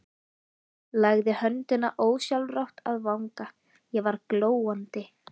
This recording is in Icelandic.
Lagði höndina ósjálfrátt að vanga, ég var glóandi.